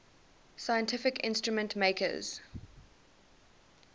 scientific instrument makers